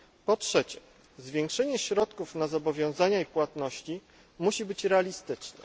Po trzecie, zwiększenie środków na zobowiązania i płatności musi być realistyczne.